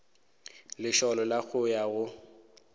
lesolo la go ya go